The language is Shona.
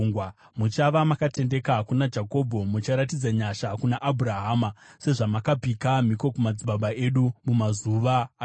Muchava makatendeka kuna Jakobho, mucharatidza nyasha kuna Abhurahama, sezvamakapika mhiko kumadzibaba edu mumazuva akare.